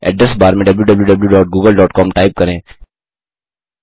address bar में wwwgooglecom type करें